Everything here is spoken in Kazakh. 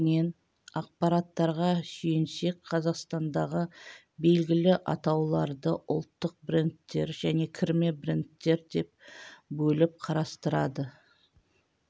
негізінен ақпараттарға сүйенсек қазақстандағы белгілі атауларды ұлттық брендтер және кірме брендтер деп бөліп қарастырады